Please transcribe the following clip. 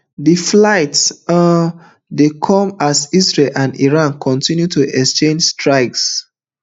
di flights um dey come as israel and iran continue to exchange strikes